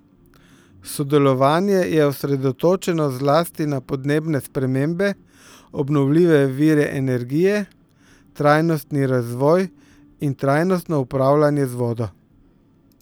Sodelovanje je osredotočeno zlasti na podnebne spremembe, obnovljive vire energije, trajnostni razvoj in trajnostno upravljanje z vodo.